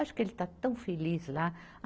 Acho que ele está tão feliz lá.